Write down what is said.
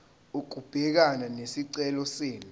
ukubhekana nesicelo senu